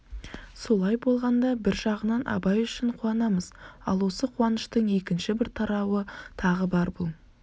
солай болғанда бір жағынан абай үшін қуанамыз ал осы қуаныштың екінші бір тарауы тағы бар бұл